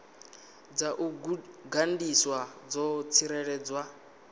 dza u gandiswa dzo tsireledzwa